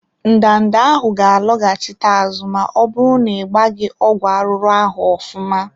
Ndanda ahụ ga loghachite azụ ma ọbụrụ n'igbaghi ọgwụ arụrụ ahụ ofụma.